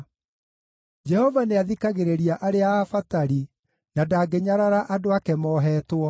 Jehova nĩathikagĩrĩria arĩa abatari, na ndangĩnyarara andũ ake moohetwo.